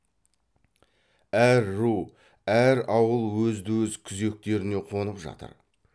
әр ру әр ауыл өзді өз күзектеріне қонып жатыр